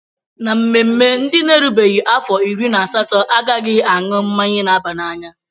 Na mmemme, ndị n'erubeghi afọ iri na asatọ a ghaghị aṅụ mmanya na-aba n'anya.